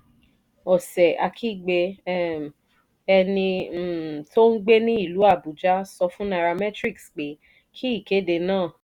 ose akhigbe um ẹni um tó ń gbé ní ìlú abuja sọ fún nairametrics pé kí ìkéde náà